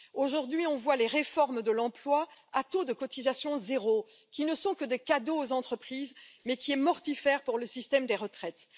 Aujourd'hui, on voit les réformes de l'emploi, à taux de cotisation zéro, qui ne sont que des cadeaux aux entreprises, mais qui sont mortifères pour le système des retraites.